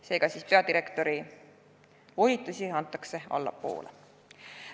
Seega peadirektori volitusi antakse allapoole.